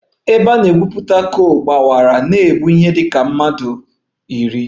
Ebe a na-egwupụta coal gbawara na-egbu ihe dị ka mmadụ iri